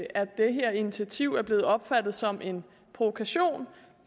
det her initiativ er blevet opfattet som en provokation